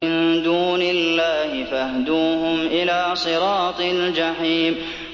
مِن دُونِ اللَّهِ فَاهْدُوهُمْ إِلَىٰ صِرَاطِ الْجَحِيمِ